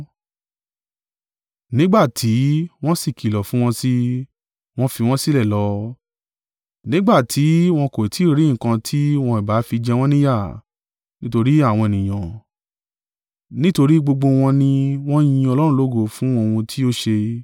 Nígbà tí wọ́n sì kìlọ̀ fún wọn sí i, wọn fi wọ́n sílẹ̀ lọ, nígbà tí wọn kò ì tí ì rí nǹkan tí wọn ìbá fi jẹ wọ́n ní ìyà, nítorí àwọn ènìyàn; nítorí gbogbo wọn ni wọ́n yin Ọlọ́run lógo fún ohun tí ó ṣe.